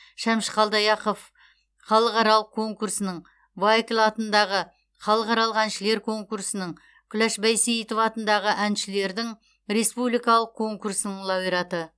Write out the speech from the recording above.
шәмші қалдаяқов халықаралық конкурсының вайкль атындағы халықаралық әншілер конкурсының күләш байсейітова атындағы әншілердің республикалық конкурсының лауреаты